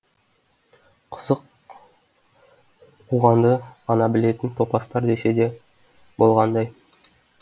қысық қуғанды ғана білетін топастар десе де болғандай